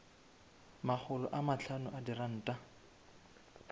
makgolo a mahlano a diranta